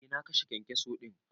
Eh na kashe kyankyaso din.